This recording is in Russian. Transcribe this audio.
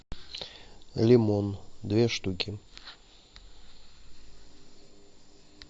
лимон две штуки